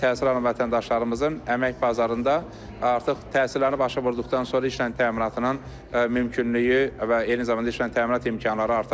təhsil alan vətəndaşlarımızın əmək bazarında artıq təhsilini başa vurduqdan sonra işlə təminatının mümkünlüyü və eyni zamanda işlə təminat imkanları arta bilər.